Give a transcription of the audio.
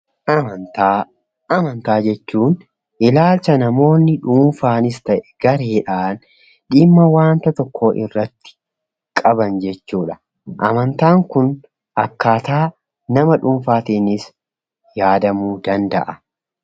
Amantaa. Amantaa jechuun ilaalcha namoonni dhuunfaanis ta'e gareedhaan dhimma waanta tokkoo irratti qaban jechuudha. Amantaan kun akkaataa nama dhuunfaatiinis yaadamuu danda'a.